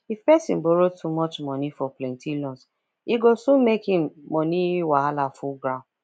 if person borrow too much money for plenty loans e go soon make im money wahala full ground